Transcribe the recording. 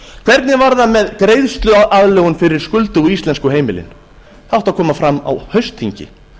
hvernig var það með greiðsluaðlögun fyrir skuldugu íslensku heimilin það átti að koma fram á haustþingi